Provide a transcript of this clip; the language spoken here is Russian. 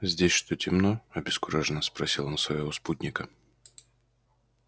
здесь что темно обескураженно спросил он своего спутника